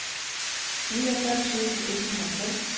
niogfyrre tusind et hundrede og fem